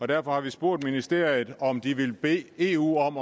derfor har vi spurgt ministeriet om de vil bede eu om